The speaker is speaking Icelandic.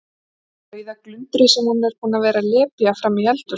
Rauða glundrið sem hún er búin að vera að lepja frammi í eldhúsi.